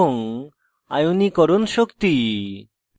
আয়নীকরণ শক্তি